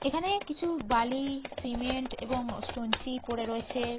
এখানে কিছু বালি সিমেন্ট এবং স্টোনচিপ পড়ে রয়েছে।